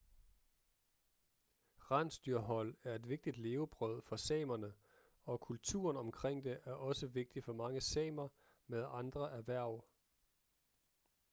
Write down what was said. rensdyrhold er et vigtigt levebrød for samerne og kulturen omkring det er også vigtig for mange samer med andre erhverv